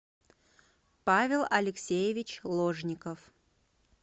павел алексеевич ложников